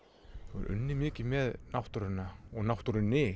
þú hefur unnið mikið með náttúruna og náttúrunni